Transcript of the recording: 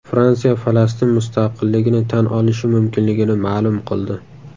Fransiya Falastin mustaqilligini tan olishi mumkinligini ma’lum qildi.